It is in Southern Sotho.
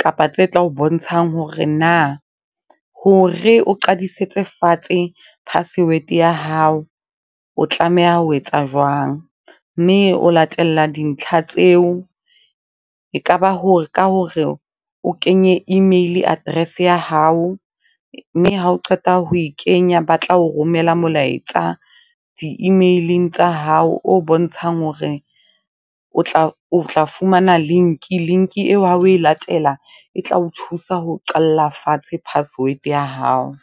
kapa tse tla o bontshang hore na, hore o qadisetse fatshe password ya hao, o tlameha ho etsa jwang. Mme o latella dintlha tseo, e ka ba ka hore o kenye email address ya hao, mme ha o qeta ho e kenya, ba tla o romela molaetsa di-email-eng tsa hao, o bontshang hore o tla fumana link. Link eo ha o e latela, e tla o thusa ho o qalla fatshe password ya hao.